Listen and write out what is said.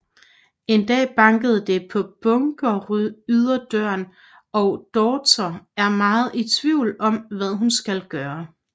En dag banker det på bunkeryderdøren og daughter er meget i tvivl om hvad hun skal gøre